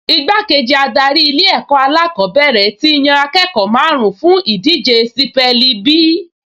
Igbákejì adarí Ilé-ẹ̀kọ́ alákọ̀ọ́bẹ̀rẹ̀ ti yan akẹ́kọ̀ọ́ márùn-ún fún ìdíje sípẹ́ẹ̀lì bí